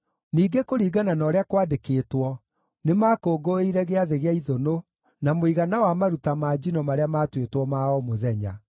Ningĩ kũringana na ũrĩa kwandĩkĩtwo, nĩmakũngũĩire Gĩathĩ gĩa Ithũnũ na mũigana wa maruta ma njino marĩa maatuĩtwo ma o mũthenya.